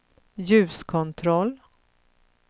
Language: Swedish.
ljuskontroll